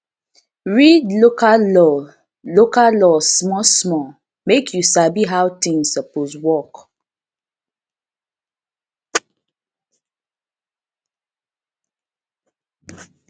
read local law local law small small mek yu sabi how tins soppose work